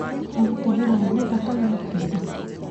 Ũraruta wĩra nyũmba kana ofici?